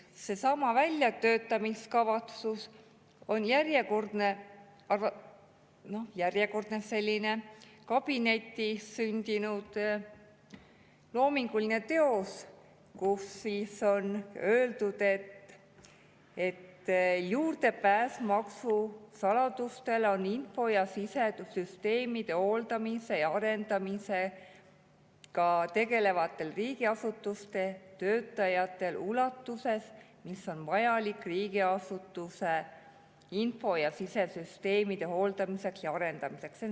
Seesama väljatöötamiskavatsus on järjekordne kabinetis sündinud loominguline teos, kus on öeldud, et juurdepääs maksusaladustele on info‑ ja sidesüsteemide hooldamise ja arendamisega tegelevatel riigiasutuste töötajatel ulatuses, mis on vajalik riigiasutuse info‑ ja sidesüsteemide hooldamiseks ja arendamiseks.